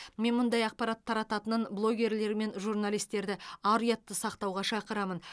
мен мұндай ақпарат тарататын блогерлер мен журналистерді ар ұятты сақтауға шақырамын